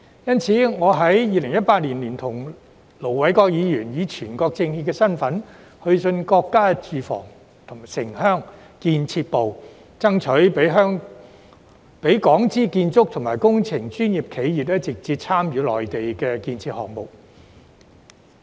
因此，我在2018年聯同盧偉國議員，以全國政協身份去信國家住房和城鄉建設部，爭取讓港資建築及工程專業企業直接參與內地的建設項目。